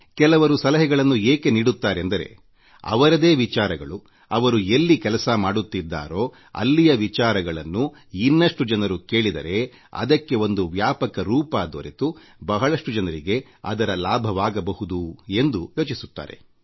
ಕೆಲವರು ಸಲಹೆಗಳನ್ನು ಏಕೆ ನೀಡುತ್ತಾರೆಂದರೆ ಅವರದೇ ವಿಚಾರಗಳು ಅವರು ಎಲ್ಲಿ ಕೆಲಸ ಮಾಡುತ್ತಿದ್ದಾರೋ ಅಲ್ಲಿಯ ವಿಚಾರಗಳನ್ನು ವಿಸ್ತೃತ ವೇದಿಕೆಯಲ್ಲಿ ಹೆಚ್ಚಿನ ಜನರು ಕೇಳಿದರೆ ಅದಕ್ಕೆ ಒಂದು ವ್ಯಾಪಕ ರೂಪ ದೊರೆತು ಬಹಳಷ್ಟು ಜನರಿಗೆ ಅದರ ಭಾಗವಾಗಬಹುದು ಎಂದು ಯೋಚಿಸುತ್ತಾರೆ